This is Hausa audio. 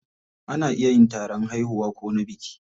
Ana iya yin taron haihuwa ko na biki.